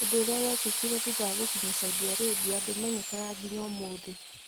Ũndũ ũrĩa wekĩkire thutha wa gũkinya Saudi Arabia ndũmenyekaga nginya ũmũthĩ